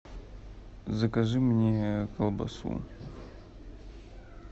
закажи мне колбасу